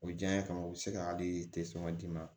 O diya ye ka u bɛ se ka hali d'i ma